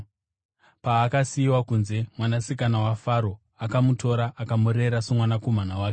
Paakasiyiwa kunze, mwanasikana waFaro akamutora akamurera somwanakomana wake.